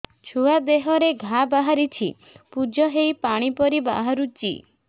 ଛୁଆ ଦେହରେ ଘା ବାହାରିଛି ପୁଜ ହେଇ ପାଣି ପରି ବାହାରୁଚି